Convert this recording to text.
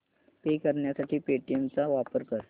पे करण्यासाठी पेटीएम चा वापर कर